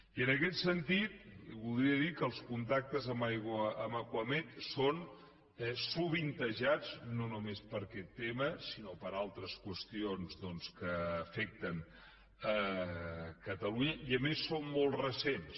i en aquest sentit li voldria dir que els contactes amb acuamed són sovintejats no només per aquest tema sinó per altres qüestions doncs que afecten catalunya i a més són molt recents